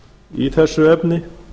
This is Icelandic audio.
í þessu efni